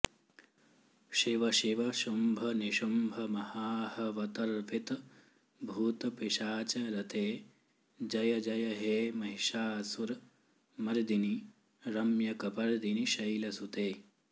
शिवशिव शुंभनिशुंभमहाहवतर्पितभूतपिशाचरते जय जय हे महिषासुरमर्दिनि रम्यकपर्दिनि शैलसुते